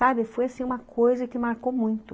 Sabe, foi assim uma coisa que marcou muito.